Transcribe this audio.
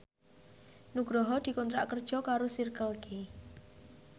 Nugroho dikontrak kerja karo Circle K